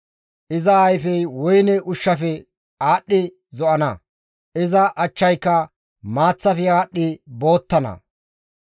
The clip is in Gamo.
Iza ayfey woyne ushshafe aadhdhi zo7ana; iza achchayka maaththafe aadhdhi boottana.